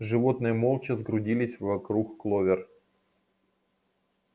животные молча сгрудились вокруг кловер